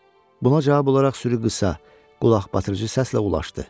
Buna cavab olaraq sürü qısa, qulaqbatırıcı səslə ulaşdı.